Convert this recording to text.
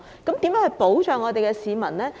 當局如何保障市民呢？